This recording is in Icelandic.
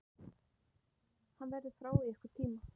Hann verður frá í einhvern tíma.